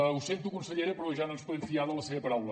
ho sento consellera però ja no ens podem fiar de la seva paraula